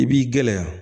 I b'i gɛlɛya